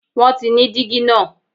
won ti ní digi naa